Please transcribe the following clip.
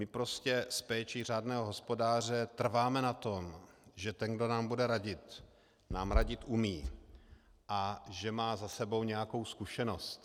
My prostě s péčí řádného hospodáře trváme na tom, že ten, kdo nám bude radit, nám radit umí a že má za sebou nějakou zkušenost.